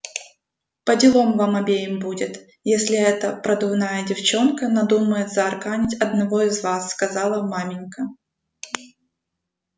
поделом вам обеим будет если эта продувная девчонка надумает заарканить одного из вас сказала маменька